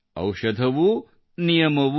ಔಷಧವೂನಿಯಮವೂ